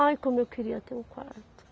Ai, como eu queria ter um quarto.